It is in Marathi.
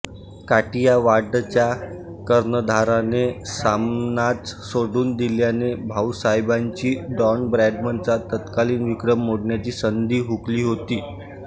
काठियावाडच्या कर्णधाराने सामनाच सोडून दिल्याने भाऊसाहेबांची डॉन ब्रॅडमनचा तत्कालीन विक्रम मोडण्याची संधी हुकली होती